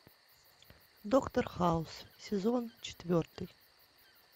доктор хаус сезон четвертый